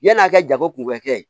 Yann'a ka jago kun kɛ